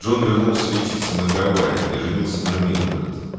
жон вернулся лечиться на гавайи где женился на милдрет